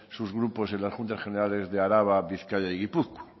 sus grupos en las juntas generales de araba bizkaia y gipuzkoa